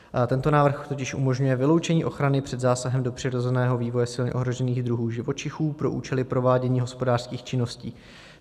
Tento návrh totiž umožňuje vyloučení ochrany před zásahem do přirozeného vývoje silně ohrožených druhů živočichů pro účely provádění hospodářských činností.